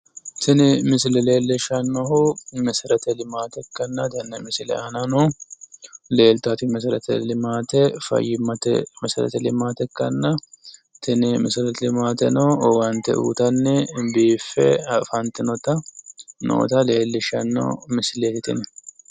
Tini misile leellishannohu mesereti limaate ikkanna tenne misile aanano leeltaati meserete limaate ayyimmate mesereti limaate ikkitanna tini mesereti limaateno owaante uyitanni biife afantinota leellishanno misileeti tini.